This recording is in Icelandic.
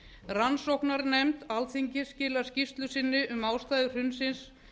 rannsóknarnefnd alþingis skilar skýrslu sinni um ástæður hrunsins